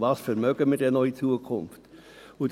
Und was vermögen wir in Zukunft noch?